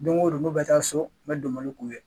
Don ko don nu bɛ taa so n bɛ donbolo k'u ye.